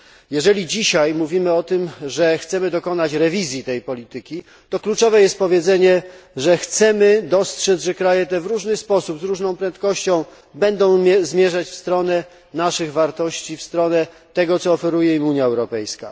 Jeżeli dzisiaj mówimy o tym, że chcemy dokonać przeglądu tej polityki, to kluczowe jest stwierdzenie, że chcemy dostrzec, że kraje te w różny sposób, z różną prędkością będą zmierzać w stronę naszych wartości, w stronę tego, co oferuje im Unia Europejska.